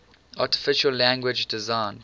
artificial language designed